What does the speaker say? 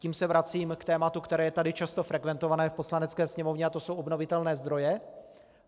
Tím se vracím k tématu, které je tady často frekventované v Poslanecké sněmovně, a to jsou obnovitelné zdroje.